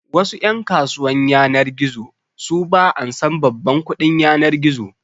Wasu ƴan kasuwan yanar gizo su ba ansan babban kuɗin yanar gizo